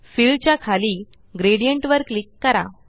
fill च्या खाली gradient वर क्लिक करा